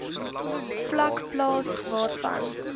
vlak plaas waarna